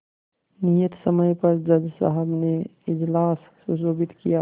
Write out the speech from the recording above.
नियत समय पर जज साहब ने इजलास सुशोभित किया